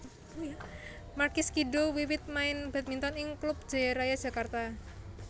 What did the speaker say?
Markis Kido wiwit main badminton ing klub Jaya Raya Jakarta